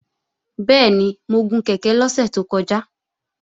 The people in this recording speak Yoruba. Bẹ́ẹ̀ni, mo gun kèké lọ́sẹ̀ tó kọjá